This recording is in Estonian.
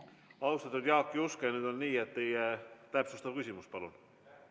Austatud Jaak Juske, nüüd on nii, et teie täpsustav küsimus palun!